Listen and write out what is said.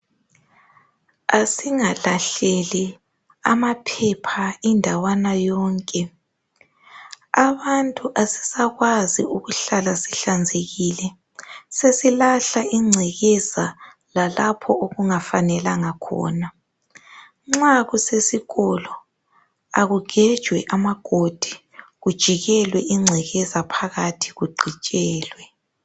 Asingalahleli amqphepha indawana yonke. Abantu asisakwazi ukuhlala sihlanzekile. Sesilahla ingcekeza lalapha okungafanelanga khona. Nxa kusesikolo, kakugejwe amagodi. Kujikelwe ingcekeza phakathi, kugqitshelwe.